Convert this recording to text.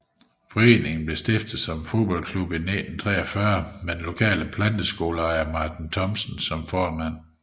Foreningen blev stiftet som en fodboldklub i 1943 med den lokale planteskoleejer Martin Thomsen som formand